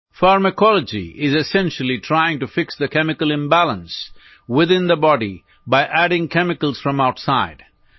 pharmacology is essentially trying to fix the chemical imbalance within the body by adding chemicals from outside